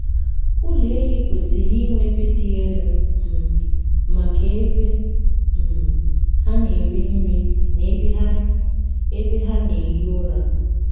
ụlọ ehi kwesịrị inwe ebe dị elu um maka ebe um ha na-eri nri na ebe ha ebe ha na-ehi ụra.